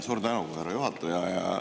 Suur tänu, härra juhataja!